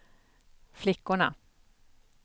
flickorna